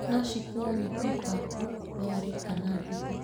No cikuo nĩ pikapu, lori kana nduthi